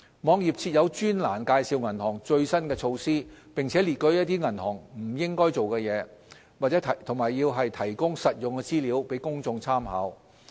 網頁設有專欄介紹銀行的最新措施，並列舉一些銀行不應做的事情，以及提供實用資料供公眾參考。